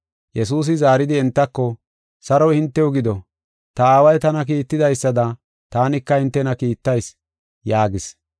Yesuusi zaaridi entako, “Saroy hintew gido; ta Aaway tana kiitidaysada taanika hintena kiittayis” yaagis.